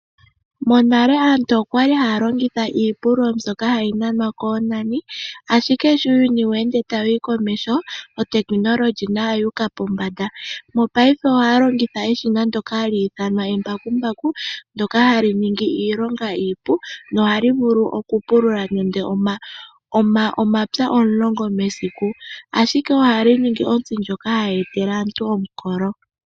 Monale aantu okwali haya longitha iipululo mbyoka hayi nanwa koonani , ashike sho uuyuni weende tawu komeho Uutekinolohi nawo owu uka pombanda. Mopaife ohaya longitha eshina ndyoka hali ithanwa embakumbaku ndyoka hali ningi iilonga iipu nohali vulu okupulula nando omapya omulongo mesiku. Ashike ohayi ningi ontsi ndjoka hayi etele aantu omukolo.